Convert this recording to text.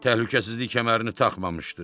Təhlükəsizlik kəmərini taxmamışdı.